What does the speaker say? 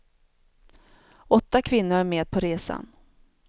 Åtta kvinnor är med på resan.